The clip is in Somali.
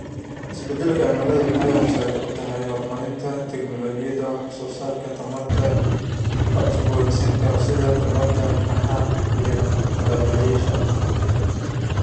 Isbeddelka cimiladu waxay horseed u tahay horumarinta tignoolajiyada wax soo saarka tamarta la cusboonaysiin karo, sida tamarta qorraxda iyo dabaysha.